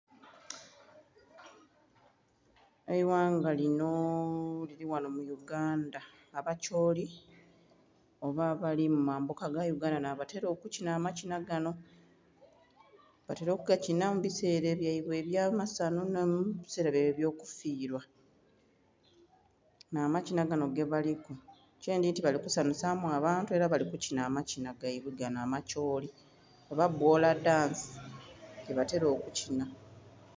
Eighanga linho lili ghanho mu Uganda. Abakyooli oba abali mu mambuka ga Uganda nh'abatela okukinha amakinha ganho. Batela okugakinha mu biseela byaibwe eby'amasanhu nhi mu biseela byaibwe eby'okufiilwa, nh'amakinha ganho gebaliku. Kyendhidhi nti bali kusanhusa mu abantu ela bali kukinha amakinha gaibwe ganho amakyooli, oba bwola dansi yebatela okukinha.